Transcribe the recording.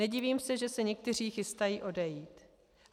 Nedivím se, že se někteří chystají odejít.